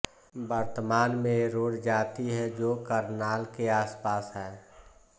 वर्तमान में ये रोड़ जाति ह जो करनाल के आसपास है